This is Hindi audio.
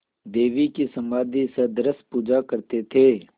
देवी की समाधिसदृश पूजा करते थे